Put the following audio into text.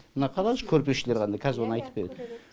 мына қараңызшы көрпешелері қандай кәзір оны айтып береді